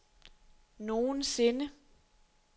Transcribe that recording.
nogensinde